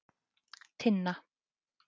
Tinna